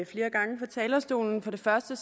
flere gange fra talerstolen for det første